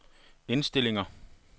indstillinger